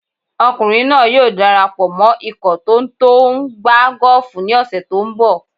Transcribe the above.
Ọkùnrin náà yóò dara pọ̀ mọ ikọ̀ tó tó ń gbá gọ́ọ̀fù ní ọ̀sẹ̀ tó ń bọ̀.